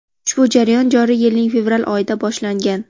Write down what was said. Ushbu jarayon joriy yilning fevral oyida boshlangan.